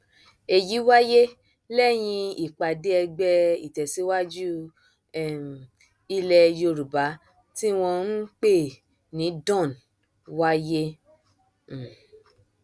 èyí wáyé lẹyìn ìpàdé ẹgbẹ ìtẹsíwájú um ilẹ yorùbá tí wọn ń pè ní dawn wáyé um